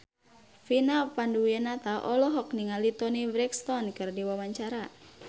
Vina Panduwinata olohok ningali Toni Brexton keur diwawancara